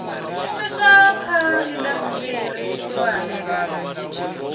shumiswa kha indasiteri khulwane na